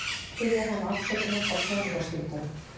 Biðja hann afsökunar á peningastuldinum.